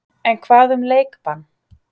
En hvað um leikbann?